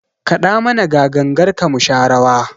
Kaɗa mana ga gangarka mu sha rawa!